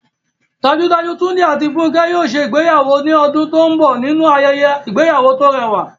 Dájúdájú, Túndé àti Fúnkẹ́ yóò ṣe ìgbéyàwó ní ọdún tó ń bọ̀ nínú ayẹyẹ ìgbéyàwó tó rẹwà